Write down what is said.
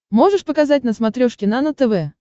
можешь показать на смотрешке нано тв